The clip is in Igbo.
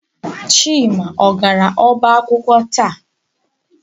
Chima ọ gara ọba akwụkwọ taa?